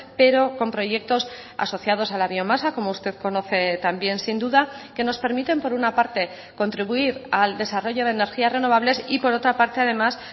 pero con proyectos asociados a la biomasa como usted conoce también sin duda que nos permiten por una parte contribuir al desarrollo de energías renovables y por otra parte además